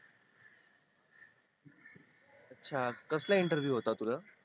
अच्छा कसला interview होता तुझा